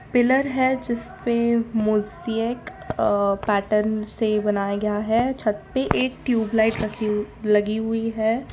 Pillar है जिस पे मोजैक अ पैटर्न से बनाया गया है छत पे एक ट्यूब लाइट रखी हु लगी हुई है।